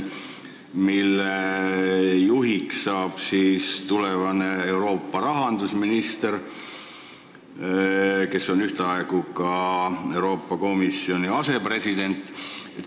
Selle juht hakkab olema tulevane Euroopa rahandusminister, kes on ühtaegu ka Euroopa Komisjoni asepresident.